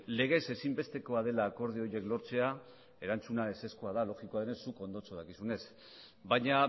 legez ezinbestekoa dela akordio horiek lortzea erantzuna ezezkoa da logikoa denez zuk ondo dakizunez baina